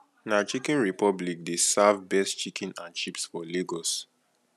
na chicken republic dey serve best chicken and chips for lagos